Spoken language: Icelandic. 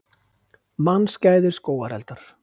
Mannskæðir skógareldar